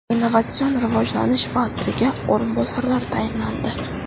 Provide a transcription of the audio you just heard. Innovatsion rivojlanish vaziriga o‘rinbosarlar tayinlandi.